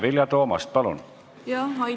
Vilja Toomast, palun!